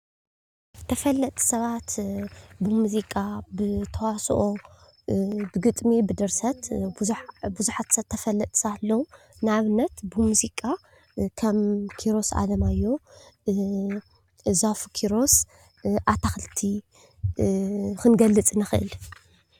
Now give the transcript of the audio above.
ተፈለጥቲ ሰባት ብሙዚቃ፣ ብተዋስኦ፣ ብግጥሚ፣ ብድርሰት ብዙሓት ሰብ ተፈለጥቲ ሰባት ኣለዉ፡፡ ንኣብነት ብሙዚቃ ከም ኪሮስ ኣለማዮህ፣ ዛፉ ኪሮስ፣ ኣታኽልቲ ክንገልፅ ንኽእል፡፡